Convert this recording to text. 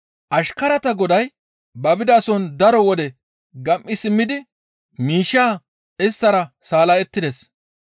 «Ashkarata goday ba bidason daro wode gam7i simmidi miishshaa isttara salla7ettides.